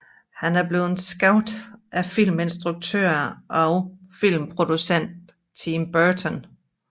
Han er blevet skabt af filminstruktør og filmprodukter Tim Burton